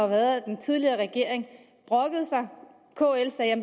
været at den tidligere regering brokkede sig kl sagde at